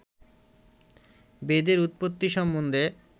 বেদের উৎপত্তি সম্বন্ধে